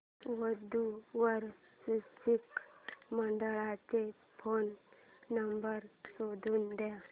वधू वर सूचक मंडळाचा फोन नंबर शोधून दे